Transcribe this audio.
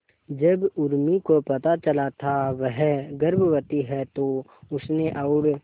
जब उर्मी को पता चला था वह गर्भवती है तो उसने और